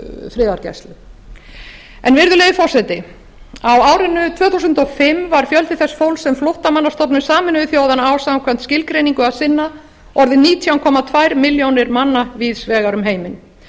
friðargæslu virðulegi forseti á árinu tvö þúsund og fimm var fjöldi þess fólks sem flóttamannastofnun sameinuðu þjóðanna á samkvæmt skilgreiningu að sinna orðinn nítján komma tvær milljónir manna víðs vegar um heiminn